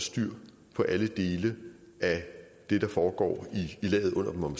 styr på alle dele af det der foregår i laget under dem om